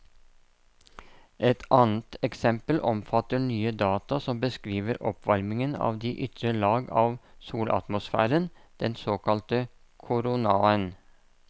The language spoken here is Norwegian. Et annet eksempel omfatter nye data som beskriver oppvarmingen av de ytre lag av solatmosfæren, den såkalte koronaen.